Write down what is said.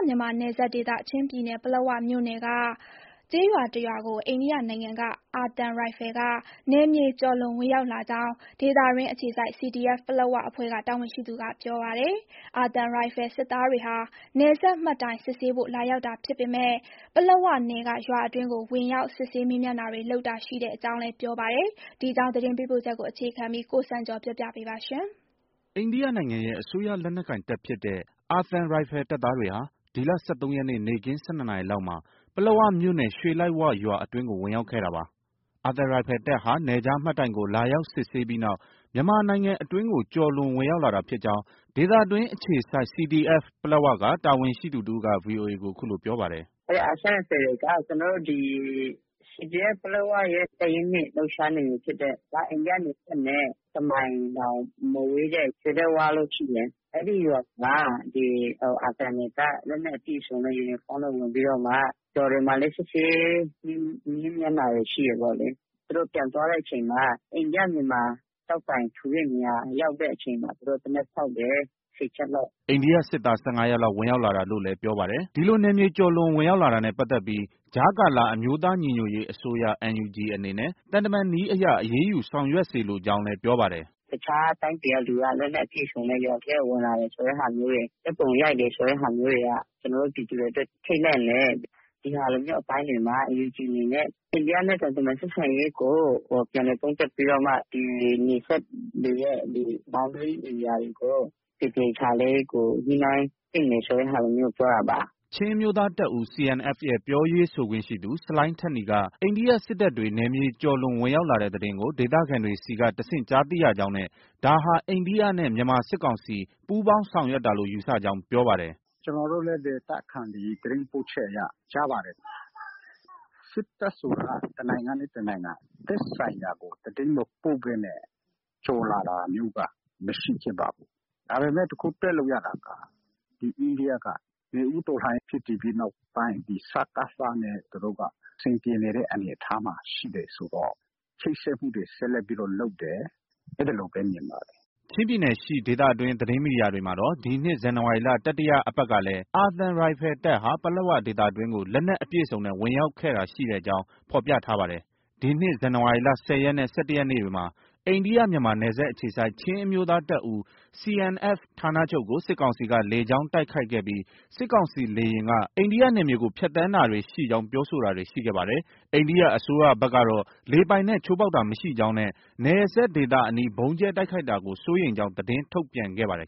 မြန်မာနယ်စပ်ဒေသရှိ ချင်းပြည်နယ်၊ ပလက်ဝမြို့နယ်က ကျေးရွာတစ်ရွာအတွင်းကို အိန္ဒိယနိုင်ငံ အာသံရိုင်ဖယ်က နယ်မြေကျော်လွန် ဝင်ရောက်လာကြောင်း ဒေသတွင်းအခြေစိုက် CDF ပလက်၀ အဖွဲ့က တာဝန်ရှိသူက ပြောပါတယ်။ အာသံရိုင်ဖယ် စစ်သားတွေဟာ နယ်စပ်မှတ်တိုင်စစ်ဆေးဖို့ လာရောက်တာဖြစ်ပေမဲ့ ပလက်ဝနယ်က ရွာအတွင်းကို ဝင်ရောက် စစ်ဆေး မေးမြန်းတာတွေ လုပ်တာရှိကြောင်း ပြောပါတယ်။ ဒီအကြောင်း သတင်းပေးပို့ချက်ကို အခြေခံပြီး ကိုစံကျော် ပြောပြပေးပါမယ်။ အိန္ဒိယနိုင်ငံရဲ့ အစိုးရလက်နက်ကိုင်တပ်ဖြစ်တဲ့ အာသံရိုင်ဖယ်တပ်သားတွေဟာ ဒီလ ၁၃ရက်နေ့ နေ့ခင်း ၁၂နာရီလောက်မှာ ပလက်ဝမြို့နယ် ရွှေလိုက်ဝရွာ အတွင်းကို ဝင်ရောက်ခဲ့တာပါ။ အာသံရိုင်ဖယ်တပ်ဟာ နယ်ခြားမှတ်တိုင်ကို လာရောက်စစ်ဆေးပြီးနောက် မြန်မာနိုင်ငံအတွင်းကို ကျော်လွန် ဝင်ရောက်လာတာဖြစ်ကြောင်း ဒေသတွင်းအခြေစိုက် CDF ပလက်ဝက တာဝန်ရှိသူတစ်ဦးက VOA ကို အခုလို ပြောပါတယ်။ “ အာသံရိုင်ဖယ်တွေက ကျနော်တို့ ဒီ CDF ပလက်ဝရဲ့ တပ်ရင်း ၂ လှုပ်ရှားနယ်မြေဖြစ်တဲ့၊ အိန္ဒိယနယ်စပ်နဲ့ တစ်မိုင်တောင် မဝေးတဲ့ ရွှေလိုက်ဝလို့ ရှိတယ်။ အဲဒီရွာကို အာသံတွေက လက်နက်အပြည့်အစုံ ယူနီဖောင်းနဲ့ ဝင်ပြီးတော့မှ ရွာတွေမှာလည်း စစ်ဆေး မေးမြန်းတာတွေ ရှိတယ်ပေါ့လေ။ သူတို့ ပြန်သွားတဲ့အချိန်မှာ အိန္ဒိယ-မြန်မာ ကျောက်တိုင်ထူတဲ့နေရာ ရောက်တဲ့အချိန်မှာ သူတို့ သေနတ်ဖောက်တယ်။ ၁၀ ချက်လောက်။ ” အိန္ဒိယစစ်သား ၁၅ယောက်လောက် ဝင်ရောက်လာတာလို့လည်း ပြောပါတယ်။ ဒီလို နယ်မြေကျော်လွန်ဝင်ရောက်လာတာနဲ့ ပတ်သက်ပြီး ကြားကာလ အမျိုးသားညီညွတ်ရေးအစိုးရ NUG အနေနဲ့ သံတမန်နည်းအရ အရေးယူ ဆောင်ရွက်စေလိုကြောင်းလည်း ပြောပါတယ်။ “ တခြားတိုင်းပြည်က လက်နက်အပြည့်အစုံနဲ့ ရွာထဲကို ဝင်လာတယ်ဆိုတဲ့ဟာမျိုးတွေ၊ ဓါတ်ပုံရိုက်တယ်ဆိုတဲ့ဟာမျိုးတွေက ကျနော်တို့ ပြည်သူတွေ ထိတ်လန့်တယ်။ ဒီဟာမျိုးအပိုင်းတွေမှာ NUG အနေနဲ့ အိန္ဒိယနဲ့ သံတမန်ဆက်ဆံရေးကို ပြန်လည် သုံးသပ်ပြီးတော့မှ နယ်စပ်တွေရဲ့ Boundary ဧရိယာတွေကို သေသေချာချာလေး ညှိနှိုင်းသင့်တယ် ဆိုတဲ့ဟာမျိုးကို ပြောတာပါ။ ” ချင်းအမျိုးသားတပ်ဦး CNF ရဲ့ ပြောရေးဆိုခွင့်ရှိသူ ဆလိုင်းထက်နီက အိန္ဒိယစစ်တပ်တွေ နယ်မြေကျော်လွန် ဝင်ရောက်လာတဲ့သတင်းကို ဒေသခံတွေဆီက တဆင့်ကြားသိရကြောင်းနဲ့ ဒါဟာ အိန္ဒိယနဲ့ မြန်မာစစ်ကောင်စီ ပူးပေါင်းဆောင်ရွက်တာလို့ ယူဆကြောင်း ပြောပါတယ်။ “ ကျနော်တို့လည်း ဒေသခံတွေ သတင်းပို့ချက်အရ ကြားပါတယ်။ စစ်တပ်ဆိုတာက တစ်နိုင်ငံနဲ့ တစ်နိုင်ငံ သက်ဆိုင်ရာကို သတင်းမပို့ဘဲနဲ့ ကျော်လာတာမျိုးက မရှိခဲ့ပါဘူး။ ဒါပေမဲ့ တစ်ခု တွက်လို့ ရတာက ဒီအိန္ဒိယက နွေဦးတော်လှန်ရေးဖြစ်တည်ပြီးနောက်ပိုင်း ဒီစကစနဲ့ သူတို့က အဆင်ပြေတဲ့အနေအထားမှာ ရှိတယ်ဆိုတော့ ချိတ်ဆက်မှုတွေ ဆက်လက်ပြီးတော့ လုပ်တယ်။ အဲဒီလိုပဲ မြင်ပါတယ်။” ချင်းပြည်နယ်ရှိဒေသတွင်း သတင်းမီဒီယာတွေမှာတော့ ဒီနှစ် ဇန်နဝါရီလ တတိယအပတ်ကလည်း အာသံရိုင်ဖယ်တပ်ဟာ ပလက်ဝဒေသအတွင်းကို လက်နက်အပြည့်အစုံနဲ့ ဝင်ရောက်ခဲ့တာရှိကြောင်း ဖော်ပြထားပါတယ်။ ဒီနှစ် ဇန်နဝါရီလ ၁၀ ရက်နဲ့ ၁၁ ရက်နေ့တွေမှာ အိန္ဒိယ-မြန်မာနယ်စပ်အခြေစိုက် ချင်းအမျိုးသားတပ်ဦး CNF ဌာနချုပ်ကို စစ်ကောင်စီက လေကြောင်းတိုက်ခိုက်ခဲ့ပြီး စစ်ကောင်စီလေယာဉ်က အိန္ဒိယနယ်မြေကို ဖြတ်သန်းတာရှိကြောင်း ပြောဆိုတာတွေ ရှိခဲ့ပါတယ်။ အိန္ဒိယအစိုးရဘက်ကတော့ လေပိုင်နက် ချိုးဖောက်တာမရှိကြောင်းနဲ့ နယ်စပ်ဒေသအနီး ဗုံးကြဲတိုက်ခိုက်တာကို စိုးရိမ်ကြောင်း သတင်းထုတ်ပြန်ခဲ့ပါတယ်